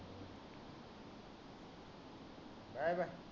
bye bye